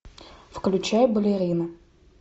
включай балерина